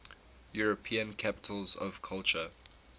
european capitals of culture